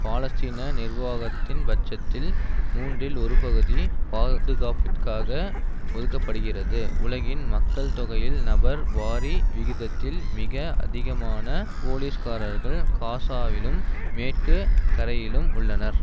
பாலஸ்தீன நிர்வாகத்தின் பட்ஜெட்டில் மூன்றில் ஒரு பகுதி பாதுகாப்பிற்காக ஒதுக்க படுகிறது உலகின் மக்கள் தொகையில் நபர் வாரி விகிதத்தில் மிக அதிகமான போலீஸ்காரர்கள் காசாவிலும் மேற்கு கரையிலும் உள்ளனர்